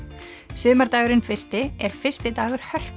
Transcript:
sumardagurinn fyrsti er fyrsti dagur